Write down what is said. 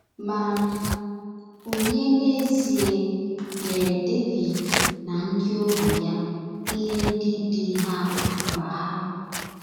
Ma ònye n’ezie nyere Devid na ndị ohu ya ihe ndị dị ha akpa ha?